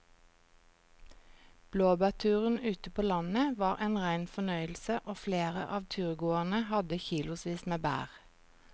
Blåbærturen ute på landet var en rein fornøyelse og flere av turgåerene hadde kilosvis med bær.